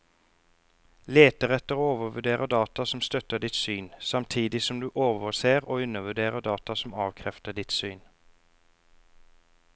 Leter etter og overvurderer data som støtter ditt syn, samtidig som du overser og undervurderer data som avkrefter ditt syn.